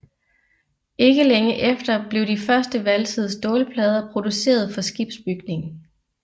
Ikke længe efter blev de første valsede stålplader producerede for skibsbygning